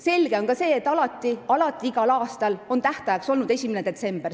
Selge on ka see, et igal aastal on tähtajaks olnud 1. detsember.